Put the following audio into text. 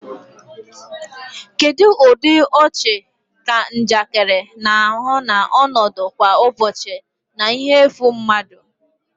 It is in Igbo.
Kedu ụdị ọchị ka njakịrị na-ahụ na ọnọdụ kwa ụbọchị na ihe efu mmadụ?